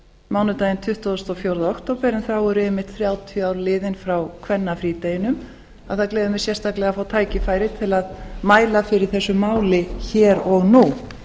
mánudaginn tuttugasta og fjórða október en þá eru einmitt þrjátíu ár liðin frá kvennafrídeginum að það gleður mig sérstaklega að fá tækifæri til að mæla fyrir þessu mál hér og nú